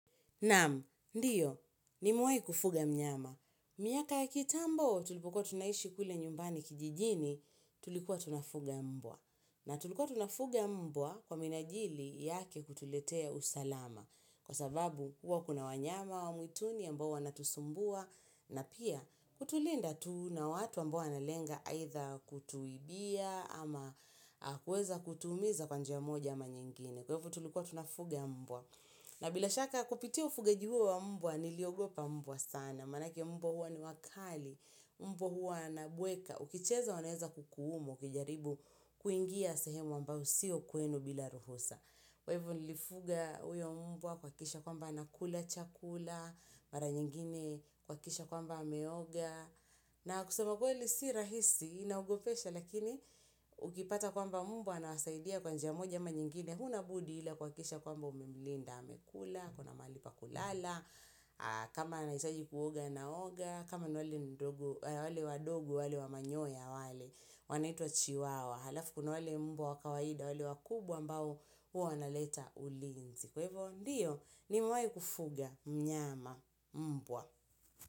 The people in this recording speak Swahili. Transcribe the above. Namu, ndiyo, nimuwai kufuga mnyama. Miaka ya kitambo tulipukua tunaishi kule nyumbani kijijini, tulikuwa tunafuga mbwa. Na tulikuwa tunafuga mbwa kwa minajili yake kutuletea usalama. Kwa sababu, kwa kuna wanyama wa mwituni ya mbao wana tusumbua. Na pia, kutulinda tu na watu wa mbao wanalenga aitha kutuibia ama kweza kutumiza kwanjia moja ama nyingine. Kwevo tulikuwa tunafuga mbwa. Na bila shaka kupitia ufugaji uhu wa mbwa niliogopa mbwa sana, manaki ya mbwa huwa ni wakali, mbwa huwa nabweka, ukicheza waneza kukuumu, kijaribu kuingia sehemu amba usio kuenu bila ruhosa. Kwa hivu nilifuga uyo mbwa kwa kisha kwamba anakula chakula, mara nyingine kwa kisha kwamba ameoga na kusema kweli hili si rahisi, inaugopesha lakini ukipata kwamba mbwa anasaidia kwanja moja ama nyingine Huna budi hila kwa kisha kwamba umimlinda amekula, kuna malipa kulala, kama anahitaji kuoga na oga kama wale wadogu, wale wamanyoya wale, wanaitua chiwawa Halafu kuna wale mbwa wakawaida wale wakubwa mbao huwa wana leta ulinzi. Kwa hivyo ndiyo nimewai kufuga mnyama mbwa.